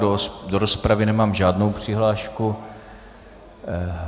Do rozpravy nemám žádnou přihlášku.